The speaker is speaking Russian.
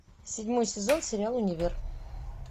седьмой сезон сериал универ